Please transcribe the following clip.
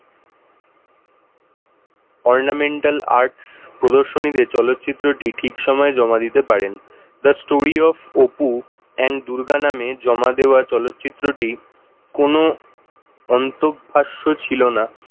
Ornamental Arts প্রদর্শনীতে চলচ্চিত্রটি ঠিক সময়ে জমা দিতে পারেন The Story of Apu and Durga নামে জমা দেওয়া চলচ্চিত্রটি কোন অন্তভাষ্য ছিল না।